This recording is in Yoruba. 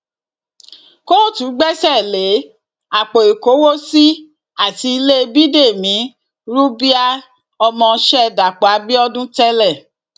kóòtù gbẹsẹ lé àpò ìkówósì àti ilé bídẹmi rúbiaì ọmọọṣẹ dàpọ abiodun tẹlẹ